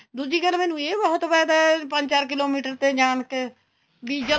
ਦੂਜੀ ਗੱਲ ਮੈਨੂੰ ਇਹ ਬਹੁਤ ਫਾਇਦਾ ਪੰਜ ਚਾਰ kilometer ਤੇ ਜਾਣ ਤੇ ਵੀ ਜਦੋਂ